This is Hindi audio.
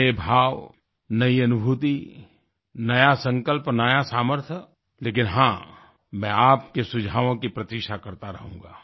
नये भाव नई अनुभूति नया संकल्प नया सामर्थ्य लेकिन हाँ मैं आपके सुझावों की प्रतीक्षा करता रहूँगा